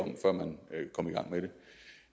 om i gang med det